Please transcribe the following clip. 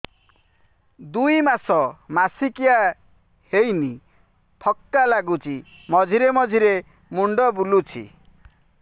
ଦୁଇ ମାସ ମାସିକିଆ ହେଇନି ଥକା ଲାଗୁଚି ମଝିରେ ମଝିରେ ମୁଣ୍ଡ ବୁଲୁଛି